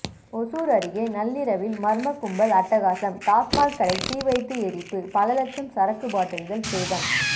ஓசூர் அருகே நள்ளிரவில் மர்ம கும்பல் அட்டகாசம் டாஸ்மாக் கடை தீவைத்து எரிப்பு பல லட்சம் சரக்கு பாட்டில்கள் சேதம்